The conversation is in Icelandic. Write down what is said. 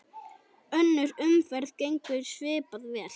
Önnur umferð gengur svipað vel.